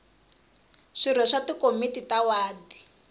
swirho swa tikomiti ta wadi